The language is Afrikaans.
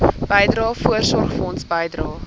bydrae voorsorgfonds bydrae